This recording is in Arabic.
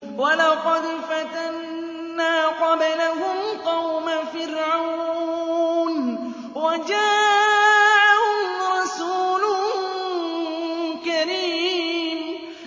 ۞ وَلَقَدْ فَتَنَّا قَبْلَهُمْ قَوْمَ فِرْعَوْنَ وَجَاءَهُمْ رَسُولٌ كَرِيمٌ